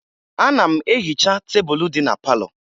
Ana m ehicha tebulu dị na palọ